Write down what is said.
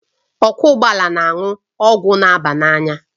Ọkwọ ụgbọala na-aṅụ ọgwụ na aba n'anya